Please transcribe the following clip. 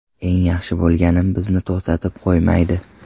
Eng yaxshi bo‘lganim bizni to‘xtatib qo‘ymaydi.